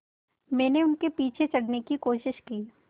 मैंने उनके पीछे चढ़ने की कोशिश की